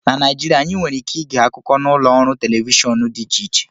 Na Naijirịa, anyị nwere ike ịge akụkọ n'ụlọ ọrụ telivishọn dị iche iche